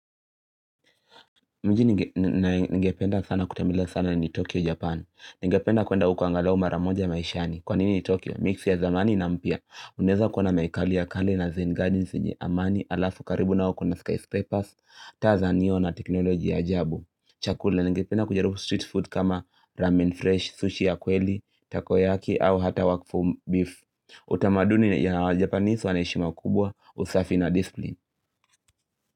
Mji ningependa sana kutambila sana ni Tokyo, Japan. Nigependa kuenda huko angalau maramoja maishani. Kwa nini ni Tokyo? Mix ya zamani na mpya. Unaweza kuona maikali ya kale na Zen Gardens yenye amani, alafu karibu nao kuna skyscrapers, taa za neon na teknoloji ya ajabu. Chakula, ningependa kujaribu street food kama ramen fresh, sushi ya kweli, takoyaki au hata workful beef. Utamaduni ya wajapanise wanaheshima kubwa, usafi na discipline.